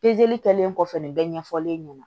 kɛlen kɔfɛ nin bɛɛ ɲɛfɔlen ɲɛna